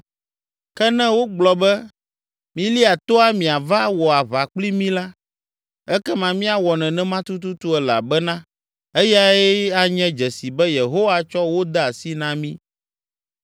Ke ne wogblɔ be, ‘Milia toa miava wɔ aʋa kpli mí’ la, ekema míawɔ nenema tutututu elabena eyae anye dzesi be Yehowa tsɔ wo de asi na mí.”